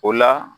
O la